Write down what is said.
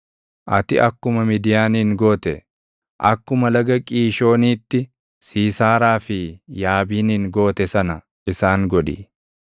Ati akkuma Midiyaanin goote, akkuma laga Qiishooniitti Siisaaraa fi Yaabiinin goote sana isaan godhi;